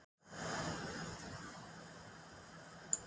Meiðslin nú eru á hné.